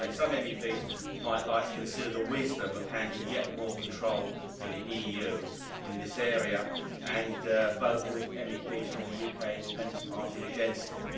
Anyway, some MEPs might like to consider the wisdom of handing yet more control to the EU in this area and vote with MEPs from the UK Independence Party against it.